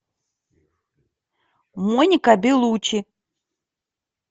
моника беллуччи